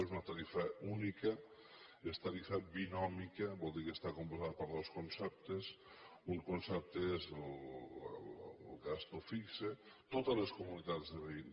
és una tarifa única i és tarifa binòmia que vol dir que està composta per dos conceptes un concepte és el gasto fix totes les comunitats de veïns